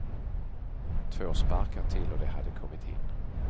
Två sparkar till och de hade kommit in.